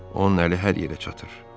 Onun əli hər yerə çatır.